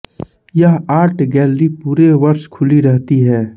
यह art gallery पूरे वर्ष खुली रहती है